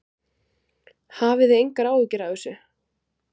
Hafið þið engar áhyggjur af þessu?